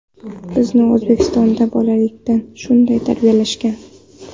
Bizni O‘zbekistonda bolalikdan shunday tarbiyalashgan.